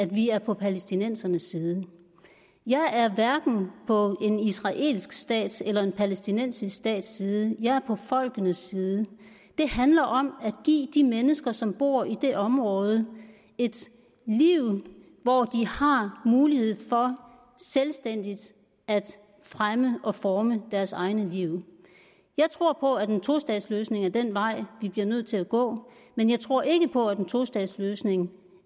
vi er på palæstinensernes side jeg er hverken på en israelsk stats eller en palæstinensisk stats side jeg er på folkenes side det handler om at give de mennesker som bor i det område et liv hvor de har mulighed for selvstændigt at fremme og forme deres egne liv jeg tror på at en tostatsløsning er den vej vi bliver nødt til at gå men jeg tror ikke på at en tostatsløsning